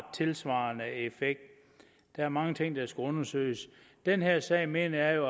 tilsvarende effekt der er mange ting der skal undersøges den her sag mener jeg jo